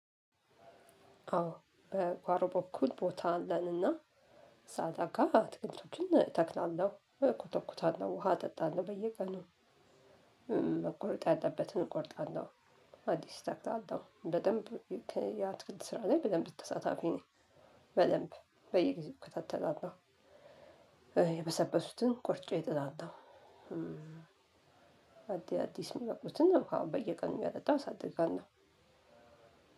አዎ በጓሮ በኩል ቦታ አለንና ሳልጠጋ አትክልቶችን እተክላለሁ እኮተኩታለው ውሃ አጠጣለው በየቀኑ መቆረጥ ያለበትን እቆርጣለሁ። አዲስ እተክላለሁ በደንብ የአትክልት ስራ ላይ በደንብ ተሳታፊ ነኝ። በደንብ በየጊዜው እከታተላለሁ። የበሰበሱትን ቆርጬ እጥላለሁ። አዲስ የሚበቅሉትን ውሃ በየቀኑ እያጠጣሁ አሳድጋለሁ።